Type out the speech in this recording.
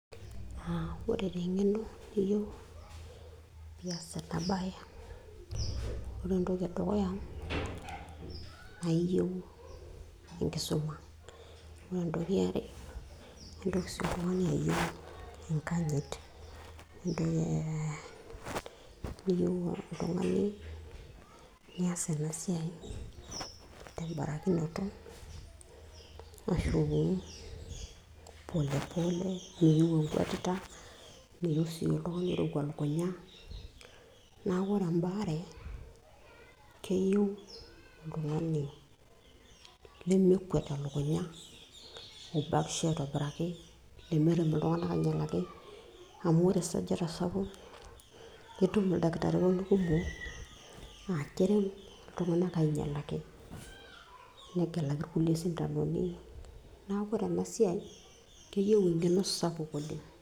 uh, ore taa eng'eno niyieu piiyas ena baye, ore entoki edukuya naa iyieu enkisuma. ore entoki iare naa intoki sii oltung'ani ayieu enkanyit uh, niyieu oltung'ani niyas ena siai tembarakinoto ashu polepole meyieu enkuetita meyieu sii iltung'anak oirowua lukunya naku ore embaare keyieu oltung'ani lemekwet elukunya obakisho aitobiraki lemerem iltung'anak ainyialaki amu ore esajata sapuk itum ildakitarini kumok naa kerem iltung'anak ainyialaki negilaki irkulie sindanoni neeku ore ena siai keyieu eng'eno sapuk oleng'.